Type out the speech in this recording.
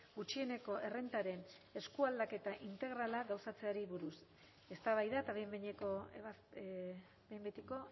gutxieneko errentaren eskualdaketa integralak gauzatzeari buruz eztabaida eta behin behineko behin betiko